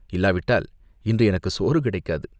இல்லாவிட்டால் இன்று எனக்குச் சோறு கிடைக்காது.